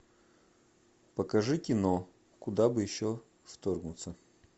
покажи кино куда бы еще вторгнуться